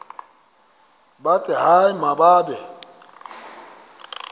bathi hayi mababe